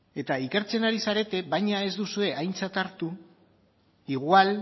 eta ikertzen ari zarete baina ez duzu aintzat hartu igual